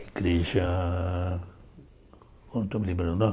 Igreja... Não estou me lembrando o nome.